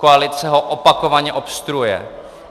Koalice ho opakovaně obstruuje.